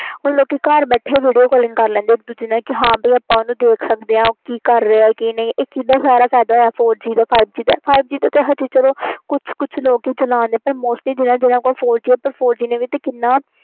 ਹੁਣ ਲੋਕੀ ਘਰ ਬੈਠੇ video call ਕਰ ਲੈਂਦੇ ਹਾਂ ਭਈ ਆਪਾ ਇਨੂੰ ਦੇਖ ਸਕਦੇ ਆ ਓ ਕਿ ਕਰ ਰਾਹਾਂ ਤੇ ਕੀ ਨਹੀਂ ਕਰ ਰਿਹਾ ਇਦਾ ਸਾਰਾ ਆਪਣਾ ਫਾਇਦਾ ਹੋਇਆ four g ਦਾ five g ਦਾ ਤੇ ਹਾਲੇ ਚਲੋ ਕੁੱਛ ਕੁਛ ਲੋਕ ਹੀ ਚਲਾਨ ਦਏ ਆ ਪਰ mostly ਜਿਨ੍ਹਾਂ ਜਿਨ੍ਹਾਂ ਕੋ four g ਨੇ ਵੀ ਕਿੰਨਾ